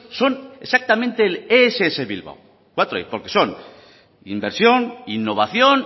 son exactamente el ess bilbao porque son inversión innovación